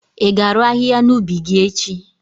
i ga-arụ ahịhịa n'ubi gi echi?